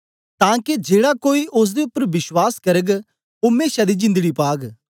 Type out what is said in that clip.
तां के जेड़ा कोई ओसदे उपर विश्वास करग ओ मेशा दी जिंदड़ी पाग